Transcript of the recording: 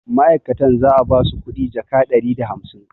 ma'aikatan za a ba su kuɗi jaka ɗari da hamsain